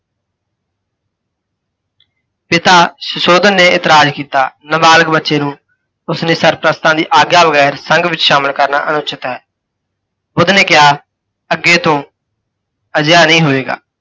ਪਿਤਾ ਸੁਸ਼ੋਧਨ ਨੇ ਇਤਰਾਜ ਕੀਤਾ, ਨਬਾਲਿਗ ਬੱਚੇ ਨੂੰ ਉਸਨੇ ਸਰਪ੍ਰਸਤਾਂ ਦੀ ਆਗਿਆ ਬਗੈਰ ਸੰਘ ਵਿੱਚ ਸ਼ਾਮਿਲ ਕਰਨਾ ਅਨਉਚਿਤ ਹੈ। ਬੁੱਧ ਨੇ ਕਿਹਾ, ਅੱਗੇ ਤੋਂ ਅਜਿਹਾ ਨਹੀਂ ਹੋਏਗਾ।